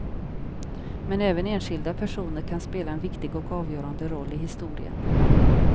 Men även enskilda personer kan spela en viktig och avgörande roll i historien.